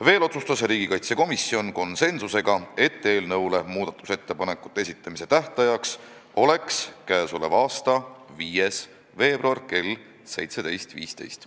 Veel otsustas riigikaitsekomisjon konsensuslikult, et eelnõu muudatusettepanekute esitamise tähtaeg on k.a 5. veebruar kell 17.15.